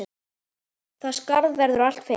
Það skarð verður aldrei fyllt.